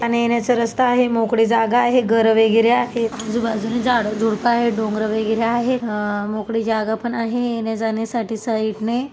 जाण्यायेण्याचं रस्ता आहे मोकळी जागा आहे घर वगैरे आहेत आजूबाजूला झाड झुड्प आहेत डोंगर वगैरे आहे अ मोकळी जागा पण आहे येण्याजाण्या साठी साईड ने.